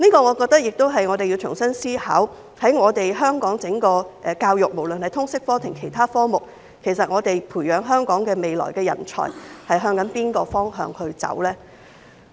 我覺得就此我們要重新思考，在整個香港教育，無論是通識科還是其他科目，我們要培養香港未來的人才走向哪個方向？